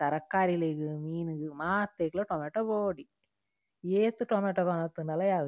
ತರಕಾರಿಲೆಗ್ ಮೀನ್ ಗ್ ಮಾತೆಕ್ಲಾ ಟೊಮಟೊ ಬೋಡೆ ಏತ್ ಟೊಮಟೊ ಕೊನೊತುಂಡಲ ಯಾವುಜಿ.